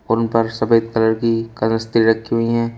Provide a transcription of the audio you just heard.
उन पर सफेद कलर की कलस्ती रखी हुई है।